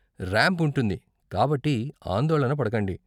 Ramp ఉంటుంది, కాబట్టి ఆందోళన పడకండి.